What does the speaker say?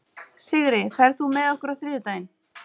Sigri, ferð þú með okkur á þriðjudaginn?